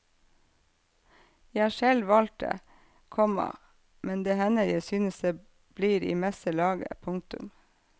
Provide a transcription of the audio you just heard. Jeg har selv valgt det, komma men det hender jeg synes det blir i meste laget. punktum